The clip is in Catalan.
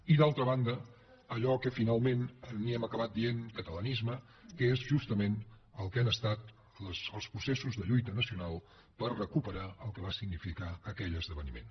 i d’altra banda allò que finalment n’hem acabat dient catalanisme que és justament el que han estat els processos de lluita nacional per recuperar el que va significar aquell esdeveniment